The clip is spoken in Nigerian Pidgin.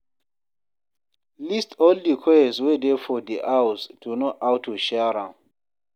List all di chores wey dey for di house to know how to share am